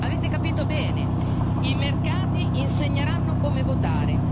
Avete capito bene i mercati insegneranno come votare.